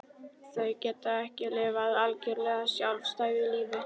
Þau geta ekki lifað algjörlega sjálfstæðu lífi.